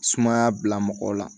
Sumaya bila mɔgɔw la